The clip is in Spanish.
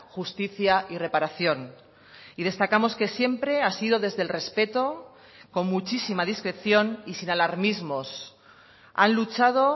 justicia y reparación y destacamos que siempre ha sido desde el respeto con muchísima discreción y sin alarmismos han luchado